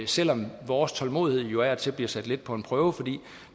selv om vores tålmodighed jo af og til bliver sat lidt på prøve fordi